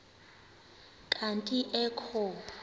kanti ee kho